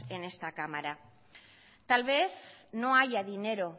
en esta cámara tal vez no haya dinero